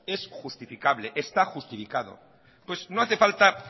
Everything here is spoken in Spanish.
es justificable está justificado pues no hace falta